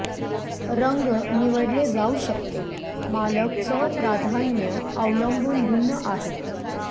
रंग निवडले जाऊ शकते मालक चव प्राधान्ये अवलंबून भिन्न आहेत